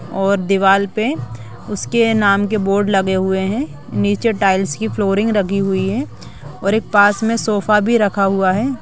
और दीवाल पे उसके नाम के बोर्ड लगे हुए हैं। नीचे टाइल्स की फ्लोरिंग लगी हुई है और एक पास में सोफा भी रखा हुआ है।